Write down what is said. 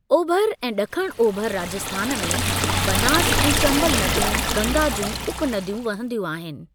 ओभर ऐं ड॒खिण ओभर राजस्थान में बनास ऐं चंबल नदियूं, गंगा जूं उप नदियूं वहंदियूं आहिनि।